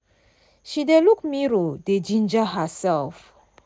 she dey luk mirror dey ginger herself